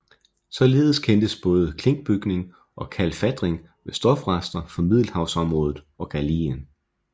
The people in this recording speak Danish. Således kendes både klinkbygning og kalfatring med stofrester fra Middelhavsområdet og Gallien